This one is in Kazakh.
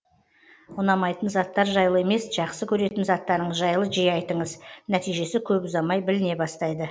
ұнамайтын заттар жайлы емес жақсы көретін заттарыңыз жайлы жиі айтыңыз нәтижесі көп ұзамай біліне бастайды